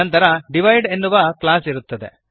ನಂತರ ದಿವಿದೆ ಎನ್ನುವ ಕ್ಲಾಸ್ ಇರುತ್ತದೆ